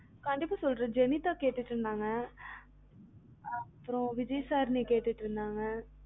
கண்டிப்பா சொல்றன் ஜெனிதா கேட்டுட்டு இருந்தாங்க, அப்புறம் விஜயதாரணி கேட்டு இருந்தாங்க